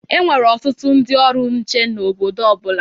Enwere ọtụtụ ndị ọrụ nche na obodo ọ bụla.